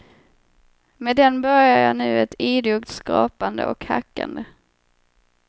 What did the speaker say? Med den börjar jag nu ett idogt skrapande och hackande.